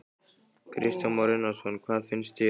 Kristján Már Unnarsson: Hvað finnst þér?